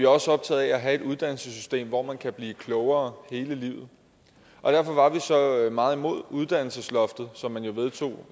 også optaget af at have et uddannelsessystem hvor man kan blive klogere hele livet derfor var vi så meget imod uddannelsesloftet som man jo vedtog